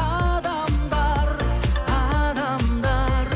адамдар адамдар